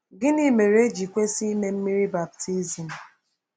Gịnị mere e ji kwesị ime mmiri Baptizim?